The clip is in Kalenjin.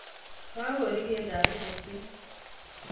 Kakori keldap ikok'yet